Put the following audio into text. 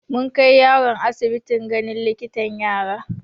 Mun kai yaron asibiti ganin likitan yara.